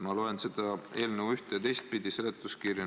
Ma loen seda eelnõu üht- ja teistpidi, samuti seletuskirja.